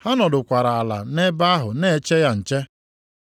Ha nọdụkwara ala nʼebe ahụ na-eche ya nche.